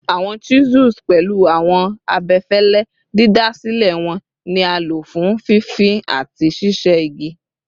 Awọn chisels, pẹlu awọn abẹfẹlẹ didasilẹ wọn, ni a lo fun fifin ati ṣiṣe igi